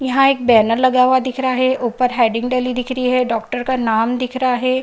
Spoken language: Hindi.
यहां एक बैनर लगा हुआ दिख रहा है ऊपर हैडिंग डली दिख रही है डॉक्टर का नाम दिख रहा है।